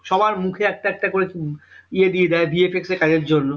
সবার মুখে একটা একটা করে ইয়ে দিয়ে যাই bfx এ কাজের জন্য